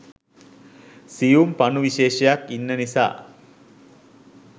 සියුම් පණු විශේෂයක් ඉන්න නිසා.